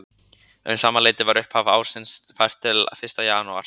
Um sama leyti var upphaf ársins fært til fyrsta janúar.